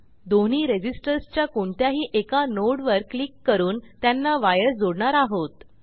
दोन्ही रेझिस्टर्स च्या कोणत्याही एका नोड वर क्लिक करून त्यांना वायर जोडणार आहोत